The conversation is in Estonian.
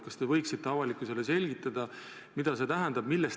Kas te võiksite avalikkusele selgitada, mida see teade tähendab?